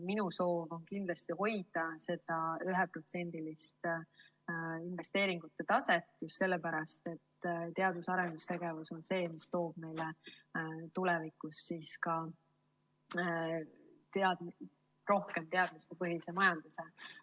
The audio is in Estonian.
Minu soov on kindlasti hoida seda 1%‑list investeeringute taset just sellepärast, et teadus‑ ja arendustegevus on see, mis toob meile tulevikus rohkem teadmistepõhise majanduse.